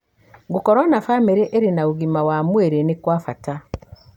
Gũkorũo na famĩrĩ ĩrĩ na ũgima mwega wa mwĩrĩ nĩ kwa bata.